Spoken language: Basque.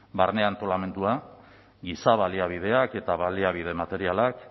barne antolamendua giza baliabideak eta baliabide materialak